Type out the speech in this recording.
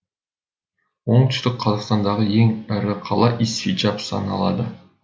оңтүстік қазақстандағы ең ірі қала исфиджаб саналады